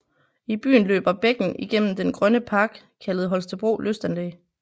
I byen løber bækken igennem den grønne park kaldet Holstebro Lystanlæg